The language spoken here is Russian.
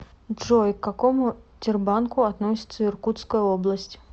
джой к какому тербанку относится иркутская область